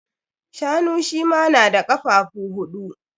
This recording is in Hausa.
Shanu shi ma na da kafafu huɗu.